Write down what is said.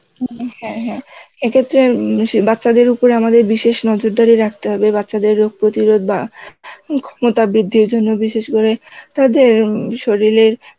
উম হ্যাঁ হ্যাঁ এক্ষেত্রে বাচ্চাদের উপর আমাদের বিশেষ নজরদারি রাখতে হবে বাচ্চাদের রোগ প্রতিরোধ বা ক্ষমতাবৃদ্ধির জন্য বিশেষ করে তাদের শরীরের